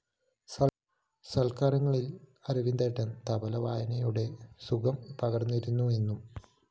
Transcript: സല്‍ക്കാരങ്ങളില്‍ അരവിന്ദേട്ടന്‍ തബ്ല വായനയുടെ സുഖം പകര്‍ന്നിരുന്നു എന്നും